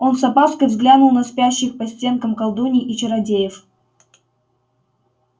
он с опаской взглянул на спящих по стенкам колдуний и чародеев